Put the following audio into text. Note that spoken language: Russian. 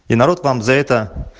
и народ вам за это